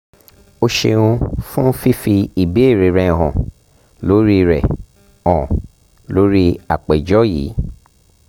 o ṣeun fun fifi ibeere rẹ han lori rẹ han lori apejọ yii